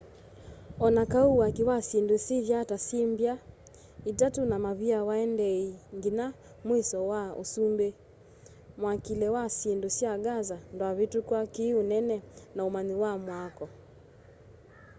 o na kau waki wa syindu sithyaa ta syi mby'a itatu na mavia waendeeie nginya mwisho wa usumbi mwakile wa syindu sya gaza ndwavitukwa ki unene na umanyi wa mwako